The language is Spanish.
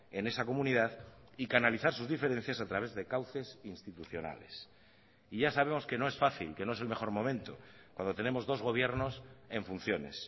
en esa comunidad y canalizar sus diferencias a través de cauces institucionales y ya sabemos que no es fácil que no es el mejor momento cuando tenemos dos gobiernos en funciones